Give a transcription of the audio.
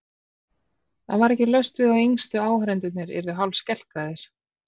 Það var ekki laust við að yngstu áhorfendurnir yrðu hálfskelkaðir.